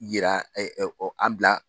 Yira an bila